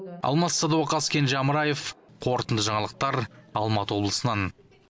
алмас садуақас кенже амраев қорытынды жаңалықтар алматы облысынан